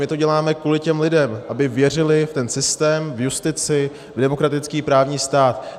My to děláme kvůli těm lidem, aby věřili v ten systém, v justici, v demokratický právní stát.